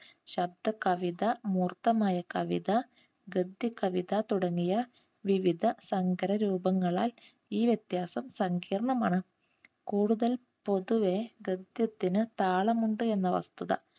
ശബ്ദ കവിത, മൂർത്തമായ കവിത, ഗദ്യ കവിത തുടങ്ങിയ വിവിധ സങ്കരരൂപങ്ങളാൽ ഈ വ്യത്യാസം സങ്കീർണമാണ്. കൂടുതൽ പൊതുവേ ഗദ്യത്തിന് താളം ഉണ്ട് എന്ന വസ്തുത